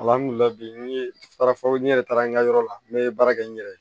n ye baara fɔ n yɛrɛ taara n ka yɔrɔ la n ye baara kɛ n yɛrɛ ye